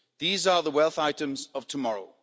These are the wealth items of tomorrow.